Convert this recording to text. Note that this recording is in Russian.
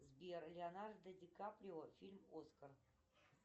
сбер леонардо ди каприо фильм оскар